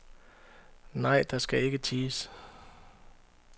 Nej, der skal ikke ties.